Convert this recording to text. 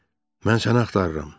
Mən səni axtarıram.